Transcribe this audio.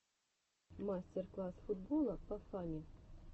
мастер класс футбола по фани